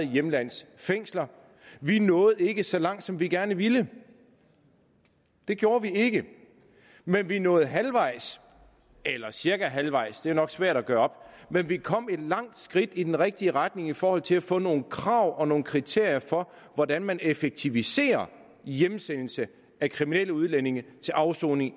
hjemlandets fængsler vi nåede ikke så langt som vi gerne ville det gjorde vi ikke men vi nåede halvvejs eller cirka halvvejs det er nok svært at gøre op men vi kom et langt skridt i den rigtige retning i forhold til at få nogle krav om og nogle kriterier for hvordan man effektiviserer hjemsendelse af kriminelle udlændinge til afsoning i